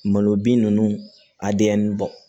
Malo bin ninnu a denyɛrɛni ba